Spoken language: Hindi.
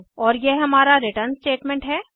और यह हमारा रिटर्न स्टेटमेंट है